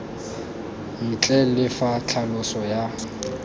ntle le fa tlhaloso ya